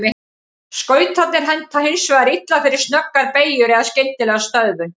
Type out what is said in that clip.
Skautarnir henta hins vegar illa fyrir snöggar beygjur eða skyndilega stöðvun.